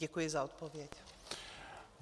Děkuji za odpověď.